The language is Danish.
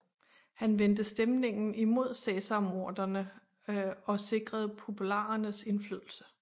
Han vendte stemningen imod cæsarmorderne og sikrede popularernes indflydelse